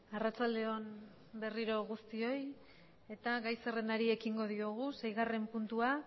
gai zerrendako seigarren puntua